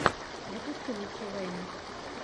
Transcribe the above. запусти лучшие вайны